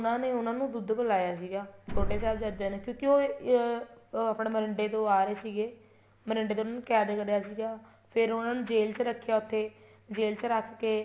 ਉਹਨਾ ਨੇ ਉਹਨਾ ਨੂੰ ਦੁੱਧ ਪਿਲਾਇਆ ਸੀਗਾ ਛੋਟੋ ਸਾਹਿਬਜਾਦਿਆਂ ਨੇ ਕਿਉਂਕਿ ਉਹ ਅਹ ਉਹ ਆਪਣੇ ਮੋਰਿੰਡੇ ਤੋ ਆ ਰਹੇ ਸੀਗੇ ਮੋਰਿੰਡੇ ਤੋ ਉਹਨਾ ਨੂੰ ਕੈਦ ਕਰਿਆ ਸੀਗਾ ਫ਼ੇਰ ਉਹਨਾ ਨੂੰ ਜੇਲ ਰੱਖਿਆ ਉੱਥੇ ਜੇਲ ਚ ਰੱਖਕੇ